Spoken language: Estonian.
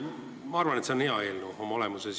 Ma arvan, et see on oma olemuselt hea eelnõu.